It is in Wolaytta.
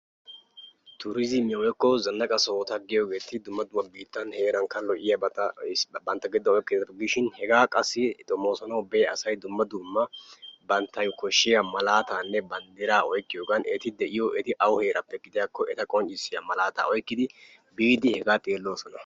Turizzimiyaa woykko zanaqqa sohota giyoogeeti dumma dumma biittan heerankka lo''iyaabata issiba bantta giddon oykkiyaabata gidishin hega qassi xoommossanaw biya asay dumma dumma banttaw koshshiyaa malaatanne banddira oykkiyoogan eti de'iyo, eti awu heeraappe gidiyakko eta qonccissiyaa malaataa oykkidi biidi hegaa xeellosona.